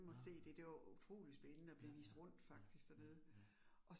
Nåh. Ja ja ja ja ja